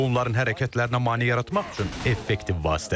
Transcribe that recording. Bu onların hərəkətlərinə mane yaratmaq üçün effektiv vasitədir.